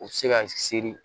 U bɛ se ka seri